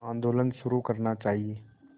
आंदोलन शुरू करना चाहिए